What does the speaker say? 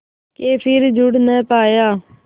के फिर जुड़ ना पाया